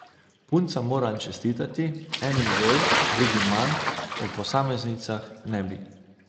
Puncam moram čestitati, enim bolj, drugim manj, o posameznicah ne bi.